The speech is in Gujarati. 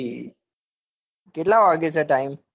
કેટલા વાગે છ time.